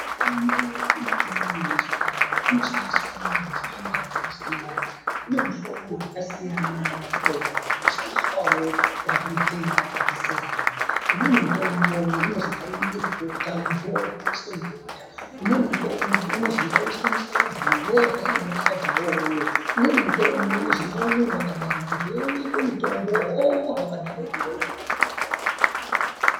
Mitombo yedu iyoyo yechindau inoshandiswa ngenjira dzakasiyana inemuhlobo yakasiya. Mutombo inoshandiswawo kurapa matenda akasiyana .Imweni mutombo unozi ngaibikwe mubota muntu orya yoiswa mubota ,umweni mutombo unozi ngauiswe musadza muntu orya arimwo musadza mwo iwoyo umweni mutombo ngaumwiwe wakadaro muntu wowo onyikwe mutombo omwa wakadaroko.⁹